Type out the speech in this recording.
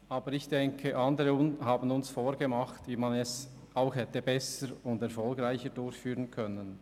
Aber ich denke, dass uns andere vorgemacht haben, wie man es besser und erfolgreicher hätte tun können.